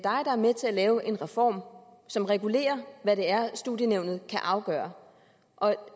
er med til at lave en reform som regulerer hvad det er studienævnet kan afgøre